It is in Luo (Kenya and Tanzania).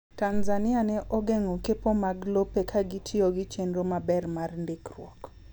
Tanzania ne ogeng'o kepo mag lope ka gitiyo gi chenro maber mar ndikruok..